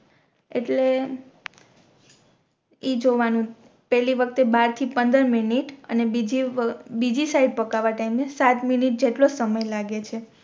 એટલે ઇ જોવાનું પેહેલી વખતે બાર થી પંદર મિનિટ અને બીજિ અને બીજિ સાઇડ પકાવા ટાઇમ એ સાત મિનિટ જેટલો સમય લાગે છે